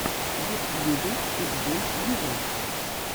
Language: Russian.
в ютьюбе питбуль виво